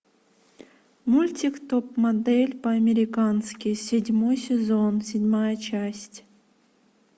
мультик топ модель по американски седьмой сезон седьмая часть